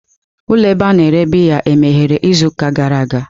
Ụlọ ebe a na-ere biya emeghere izuụka gara aga?